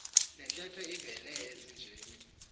ntetho ivele ezinjeni